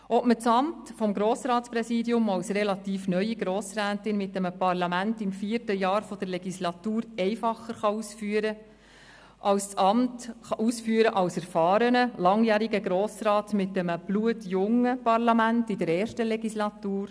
Ob man das Amt des Grossratspräsidiums als relativ neue Grossrätin mit einem Parlament im vierten Jahr der Legislatur einfacher ausüben kann, denn als erfahrener, langjähriger Grossrat mit einem blutjungen Parlament in der ersten Legislatur?